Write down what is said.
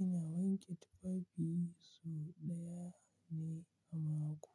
Ina wanke tufafi so ɗaya ne a mako.